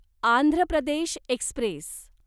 Andhra Pradesh Express